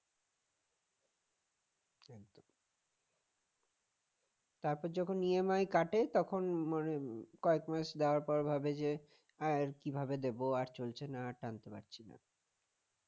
তারপর যখন EMI কাটে তখন মানে কয়েক মাস দেওয়ার পর ভাবে ভাববে যে আর কিভাবে দিব আর চলছে না টানতে পারছি না